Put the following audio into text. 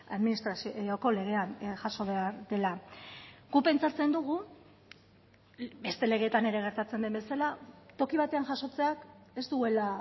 administrazioko legean jaso behar dela guk pentsatzen dugu beste legeetan ere gertatzen den bezala toki batean jasotzeak ez duela